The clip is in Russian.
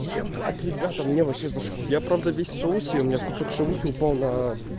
ебать ребята мне вообще зашло я правда весь в соусе у меня кусок шавухи упал на